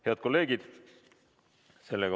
Head kolleegid!